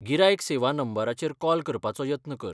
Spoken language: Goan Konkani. गिरायक सेवा नंबराचेर कॉल करपाचो यत्न कर.